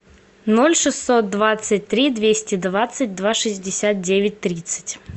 ноль шестьсот двадцать три двести двадцать два шестьдесят девять тридцать